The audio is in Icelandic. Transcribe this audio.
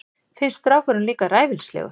Finnst strákurinn líka ræfilslegur.